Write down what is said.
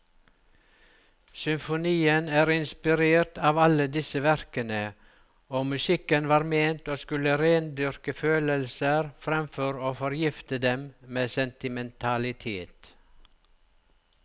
Symfonien er inspirert av alle disse verkene, og musikken var ment å skulle rendyrke følelser framfor å forgifte dem med sentimentalitet.